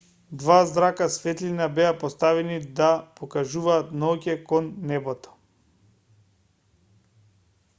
два зрака светлина беа поставени да покажуваат ноќе кон небото